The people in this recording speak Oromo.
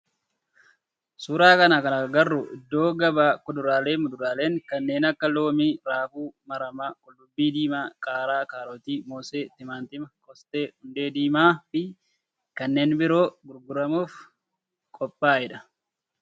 Suuraa kana irratti kan agarru iddoo gabaa kuduraalee fi muduraaleen kanneen akka loomii, raafuu maramaa, qullubbii diimaa, qaaraa, kaarootii, moosee, timaatima, qoosxaa, hundee diimaa fi kanneen biroo gurguramuf qophaa'e dha.